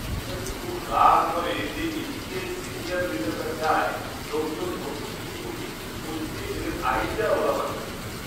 এটাতে খুব রাগ ধরে যে এদিকে সিনিয়র লিডাররা চায় লোকজন নতুন কিছু করুক কিন্তু ওদিকে এদের আইডিয়া ওঁরা মানবে না!